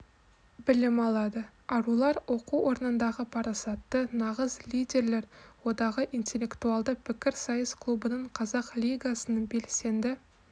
білім алады арулар оқу орнындағы парасатты нағыз лидерлер одағы интеллектуалды пікірсайыс клубының қазақ лигасының белсенді